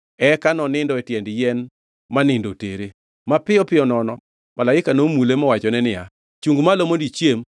Eka nonindo e tiend yien ma nindo otere. Mapiyo piyo nono malaika nomule mowachone niya, “Chungʼ malo mondo ichiem.”